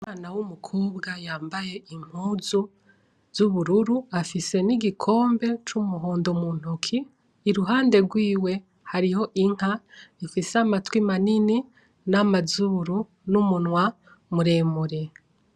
Umwana w'umukobwa yambaye impuzu z'ubururu afise n'igikombe c'umuhondo muntoki, iruhande rwiwe hariho inka ifise amatwi manini namazuru n'umunywa muremure.